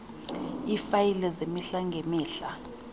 iifayile zemihla ngemihla